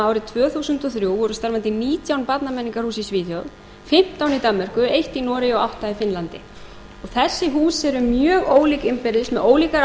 árið tvö þúsund og þrjú voru starfandi nítján barnamenningarhús í svíþjóð fimmtán í danmörku eitt í noregi og átta í finnlandi þessi hús eru mjög ólík innbyrðis með